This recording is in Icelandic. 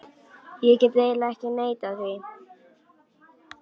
Ég get eiginlega ekki neitað því.